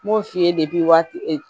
N b'o f'i ye waati